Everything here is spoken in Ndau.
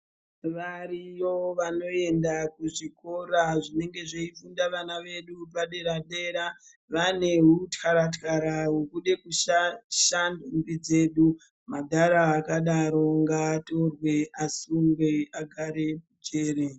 Variyo vanoenda kuzvikora zvinenge zveifunda vana vedu padera dera vane hutyara tyara hokude kushaishe ndombi dzedu. Madhara akadaro ngatorwe asungwe agare mujere.